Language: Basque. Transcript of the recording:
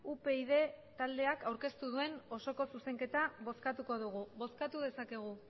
upyd taldeak aurkeztu duen osoko zuzenketa bozkatuko dugu bozkatu dezakegu